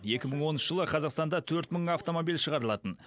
екі мың оныншы жылы қазақстанда төрт мың автомобиль шығарылатын